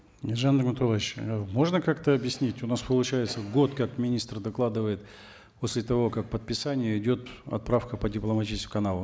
ержан нигматуллаевич э можно как то объяснить у нас получается год как министр докладывает после того как подписание идет отправка по дипломатическим каналам